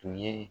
Tun ye